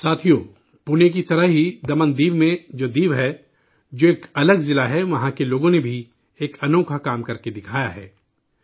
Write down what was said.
ساتھیو، پونے کی طرح ہی دمن و دیو میں جو دیو ہے، جو ایک الگ ضلع ہے، وہاں کے لوگوں نے بھی، ایک انوکھا کام کرکے دکھایا ہے